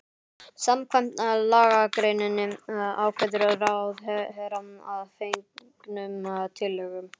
Samkvæmt lagagreininni ákveður ráðherra að fengnum tillögum